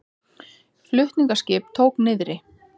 Flutningaskip tók niðri